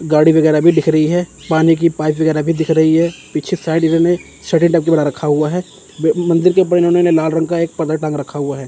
गाड़ी वगैरा भी दिख रही है पानी की पाइप वगैरा भी दिख रही है पीछे बना रखा हुआ है। मंदिर के परिजनों ने लाल रंग का एक पर्दा टांग रखा हुआ है।